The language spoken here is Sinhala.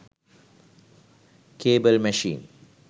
cable machine